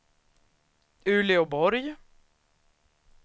Uleåborg